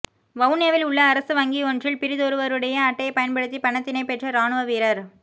வவுனியாவில் உள்ள அரச வங்கியொன்றில் பிறிதொருவருடைய அட்டையைப் பயன்படுத்தி பணத்தினைப் பெற்ற இராணுவ வீரர